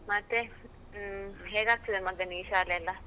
ಮತ್ತೆ, ಹ್ಮ್, ಹೇಗ್ತದೆ ಮಗನಿಗೆ ಶಾಲೆ ಎಲ್ಲ?